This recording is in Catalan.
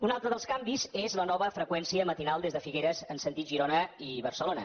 un altre dels canvis és la nova freqüència matinal des de figueres en sentit girona i barcelona